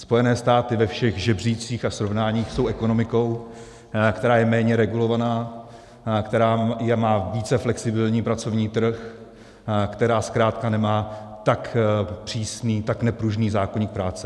Spojené státy ve všech žebříčcích a srovnáních jsou ekonomikou, která je méně regulovaná, která má více flexibilní pracovní trh, která zkrátka nemá tak přísný, tak nepružný zákoník práce.